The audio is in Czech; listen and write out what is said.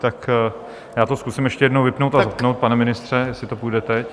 Tak já to zkusím ještě jednou vypnout a zapnout, pane ministře, jestli to půjde teď.